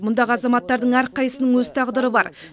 мұндағы азаматтардың әрқайсысының өз тағдыры бар